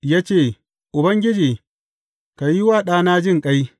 Ya ce, Ubangiji, ka yi wa ɗana jinƙai.